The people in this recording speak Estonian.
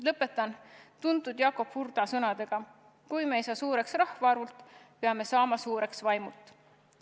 Lõpetan Jakob Hurda tuntud sõnadega: kui me ei saa suureks rahvaarvult, peame saama suureks vaimult.